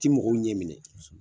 Ti mɔgɔw ɲɛ minɛ